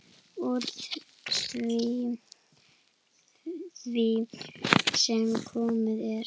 Úr því sem komið er.